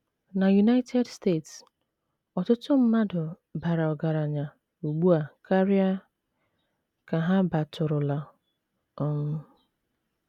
Na United States, ọtụtụ mmadụ bara ọgaranya ugbu a karịa ka ha batụrụla um.